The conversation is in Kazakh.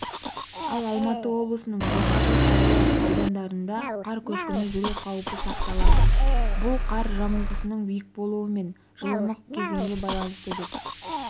ал алматы облысының жоғары таулы аудандарында қар көшкіні жүру қаупі сақталады бұл қар жамылғысының биік болуы мен жылымық кезеңге байланысты деп